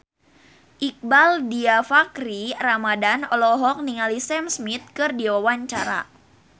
Iqbaal Dhiafakhri Ramadhan olohok ningali Sam Smith keur diwawancara